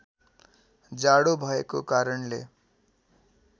जाडो भएको कारणले